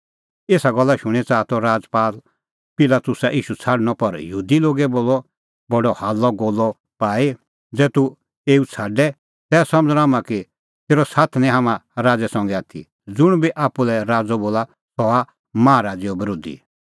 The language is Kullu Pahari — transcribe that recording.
एसा गल्ला शूणीं च़ाहा त राजपाल पिलातुस ईशू छ़ाडणअ पर यहूदी लोगै बोलअ बडअ हाल्लअगोल्लअ पाई ज़ै तूह एऊ छ़ाडे तै समझ़णअ हाम्हां कि तेरअ साथ निं माहा राज़ै संघै आथी ज़ुंण बी आप्पू लै राज़अ बोला सह हआ माहा राज़ैओ बरोधी